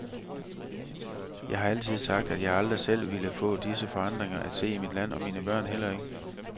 Jeg har altid sagt, at jeg aldrig selv ville få disse forandringer at se i mit land, og mine børn heller ikke.